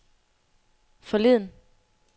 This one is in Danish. forleden